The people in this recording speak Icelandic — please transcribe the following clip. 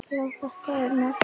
Já, þetta er magnað.